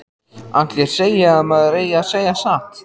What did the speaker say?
Allir segja að maður eigi að segja satt.